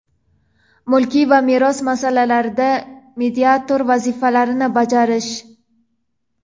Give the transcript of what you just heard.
mulkiy va meros masalalarida mediator vazifalarini bajarish;.